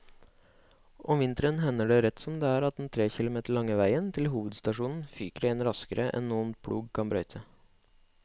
Om vinteren hender det rett som det er at den tre kilometer lange veien til hovedstasjonen fyker igjen raskere enn noen plog kan brøyte.